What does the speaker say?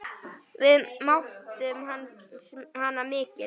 Við mátum hana mikils.